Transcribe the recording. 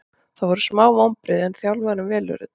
Það voru smá vonbrigði en þjálfarinn velur þetta.